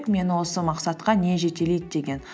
мені осы мақсатқа не жетелейді деген